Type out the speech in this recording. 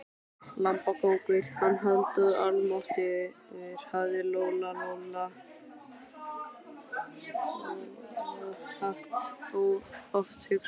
Lambakóngur, hann Halldór, almáttugur, hafði Lóa Lóa oft hugsað.